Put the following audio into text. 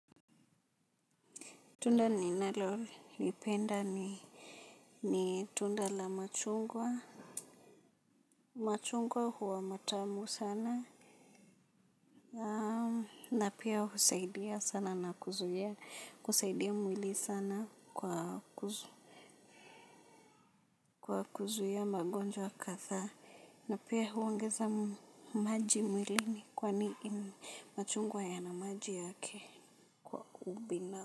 Tunda ninalolipenda ni ni tunda la machungwa. Machungwa huwa matamu sana na pia husaidia sana na kuzuia kusaidia mwili sana kwa kuzuia magonjwa kadhaa na pia huongeza maji mwili ni kwani machungwa yana maji yake. Kwa ubina.